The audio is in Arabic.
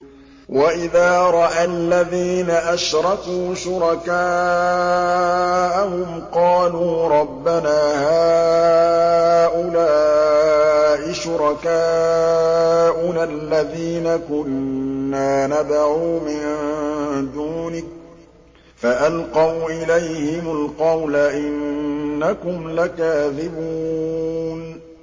وَإِذَا رَأَى الَّذِينَ أَشْرَكُوا شُرَكَاءَهُمْ قَالُوا رَبَّنَا هَٰؤُلَاءِ شُرَكَاؤُنَا الَّذِينَ كُنَّا نَدْعُو مِن دُونِكَ ۖ فَأَلْقَوْا إِلَيْهِمُ الْقَوْلَ إِنَّكُمْ لَكَاذِبُونَ